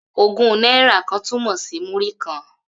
Ogun náírà tún túmọ̀ sí múrí-kan